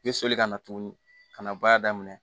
N bɛ soli ka na tuguni ka na baara daminɛ